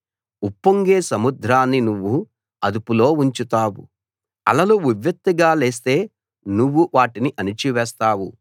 ఉప్పొంగే సముద్రాన్ని నువ్వు అదుపులో ఉంచుతావు అలలు ఉవ్వెత్తుగా లేస్తే నువ్వు వాటిని అణచివేస్తావు